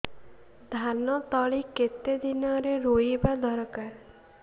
ଧାନ ତଳି କେତେ ଦିନରେ ରୋଈବା ଦରକାର